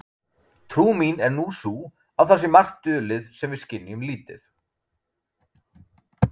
Trú mín er nú sú að það sé margt dulið sem við skynjum lítið.